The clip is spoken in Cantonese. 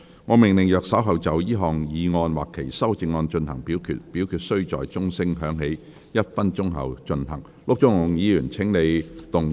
我命令若稍後就這項議案或其修正案進行點名表決，表決須在鐘聲響起1分鐘後進行。